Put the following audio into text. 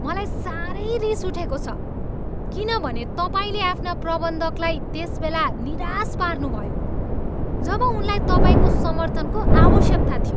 मलाई सारै रिस उठेको छ किनभने तपाईँले आफ्ना प्रबन्धकलाई त्यसबेला निराश पार्नुभयो जब उनलाई तपाईँको समर्थनको आवश्यकता थियो।